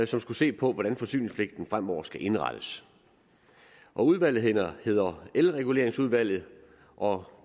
som skulle se på hvordan forsyningspligten fremover skulle indrettes udvalget hedder elreguleringsudvalget og